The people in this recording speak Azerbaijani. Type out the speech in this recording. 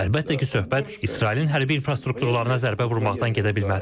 Əlbəttə ki, söhbət İsrailin hərbi infrastrukturuna zərbə vurmaqdan gedə bilməz.